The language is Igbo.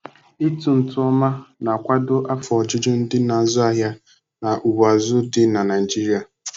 ịtụ ntụ oma na-akwado afọ ojuju ndị na-azu ahịa na ugbo azụ dị na Naijiria.